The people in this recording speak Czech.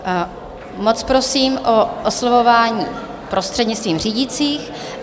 Moc prosím o oslovování prostřednictvím řídících.